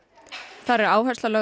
þar er áhersla lögð á